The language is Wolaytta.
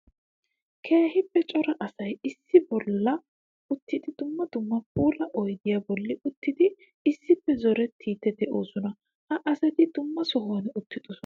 Keehippe cora asay issi bolla uttidi dumma dumma puula oyddiya bolli uttidi issippe zorettidde de'osona. Ha asati dumma sohuwan uttidosona.